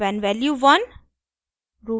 when value 1